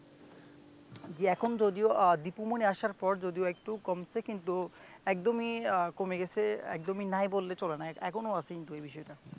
জি এখন যদিও আহ দিপু মনি আসার পর যদিও একটু কমছে কিন্তু একদমই আহ কমে গেছে একদমই নাই বললে চলে না এখনো আছে কিন্তু এই বিষয়টা